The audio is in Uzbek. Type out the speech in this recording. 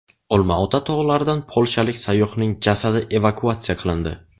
Olmaota tog‘laridan polshalik sayyohning jasadi evakuatsiya qilindi .